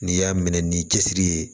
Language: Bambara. N'i y'a minɛ ni cɛsiri ye